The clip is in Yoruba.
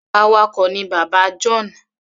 Awakọ̀ ni bàbá John.